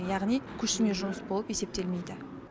яғни көшірме жұмыс болып есептелмейді